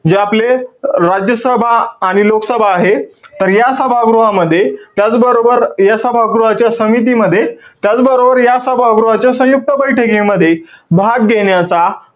जे आपले राज्यसभा आणी लोकसभा आहे. तर या सभागृहामध्ये, त्याचबरोबर या सभागृहाच्या समितीमध्ये, त्याचबरोबर या सभागृहाच्या संयुक्त बैठकीमध्ये भाग घेण्याचा,